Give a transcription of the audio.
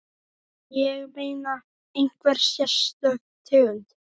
Ég meina, einhver sérstök tegund?